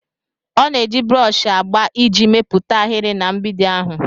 Ọ na-eji broshi agba iji mepụta ahịrị na mgbidi ahụ.